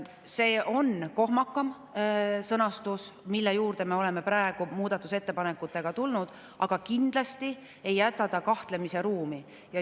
See on kohmakam sõnastus, mille juurde me oleme praegu muudatusettepanekutega tulnud, aga kindlasti ei jäta see kahtlemisruumi.